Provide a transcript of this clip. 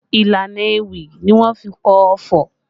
Ìlànà ewì ni wọ́n fi kọ ọfọ̀